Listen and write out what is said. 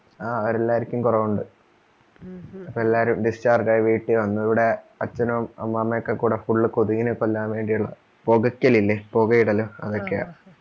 ആ അവരെല്ലാർക്കും കുറവുണ്ട്, ഇപ്പോ എല്ലാരും discharge ആയി വീട്ടിവന്നു, ഇവിടെ അച്ഛനും അമ്മാമയും ഒക്കെക്കൂടെ full കൊതുകിനെ കൊല്ലാൻ വേണ്ടിയുള്ള പുകക്കലിലെ പുകയിടല് അതൊക്കെയാ